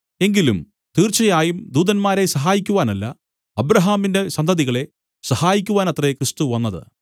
എങ്കിലും തീർച്ചയായും ദൂതന്മാരെ സഹായിക്കുവാനല്ല അബ്രാഹാമിന്റെ സന്തതികളെ സഹായിക്കുവാനത്രേ ക്രിസ്തു വന്നത്